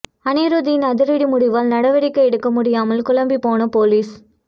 அனிருத்தின் அதிரடி முடிவால் நடவடிக்கை எடுக்க முடியாமல் குழம்பி போன போலீஸ்